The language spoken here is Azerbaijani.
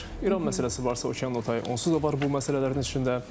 İran məsələsi varsa, okeanın o tayı onsuz da var bu məsələlərin içində.